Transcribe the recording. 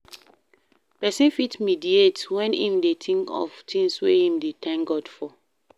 Person fit mediate when im dey think of things wey im dey thank God for